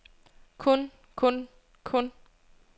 kun kun kun